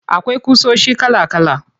Akwai ƙusoshi kala kala.